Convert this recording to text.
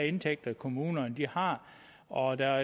indtægter kommunerne har og der